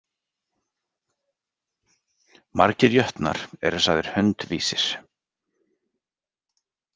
Margir jötnar eru sagðir hundvísir.